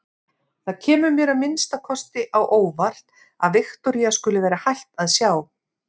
Það kemur mér að minnsta kosti á óvart að Viktoría skuli vera hætt að sjá.